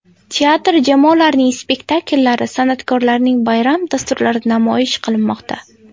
Teatr jamoalarining spektakllari, san’atkorlarning bayram dasturlari namoyish qilinmoqda.